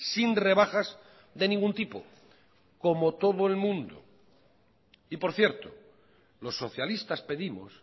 sin rebajas de ningún tipo como todo el mundo y por cierto los socialistas pedimos